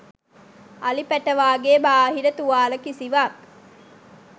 අලි පැටවාගේ බාහිර තුවාල කිසිවක්